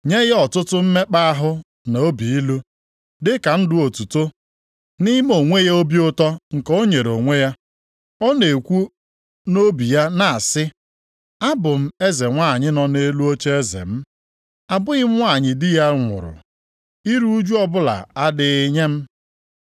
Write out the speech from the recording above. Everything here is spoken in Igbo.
Nye ya ọtụtụ mmekpa ahụ na obi ilu dịka ndụ otuto, nʼime onwe ya obi ụtọ nke o nyere onwe ya. Ọ na-ekwu nʼobi ya na-asị, ‘Abụ m eze nwanyị nọ nʼelu ocheeze m. Abụghị m nwanyị di ya nwụrụ, iru ụjụ ọbụla adịghị nye m.’ + 18:7 \+xt Aịz 47:7,8\+xt*